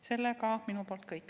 See on minu poolt kõik.